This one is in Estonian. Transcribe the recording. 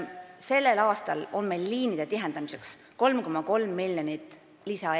Sellel aastal on meil liinide tihendamiseks 3,3 miljonit lisaeurot.